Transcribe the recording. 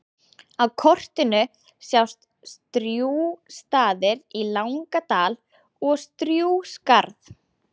Á kortinu sjást Strjúgsstaðir í Langadal og Strjúgsskarð.